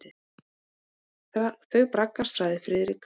Þau braggast sagði Friðrik.